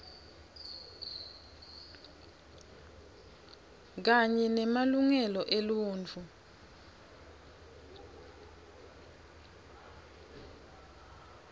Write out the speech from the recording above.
kanye nemalungelo eluntfu